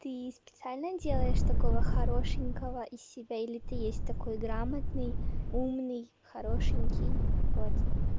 ты специально делаешь такого хорошенького из себя или ты есть такой грамотный умный хорошенький вот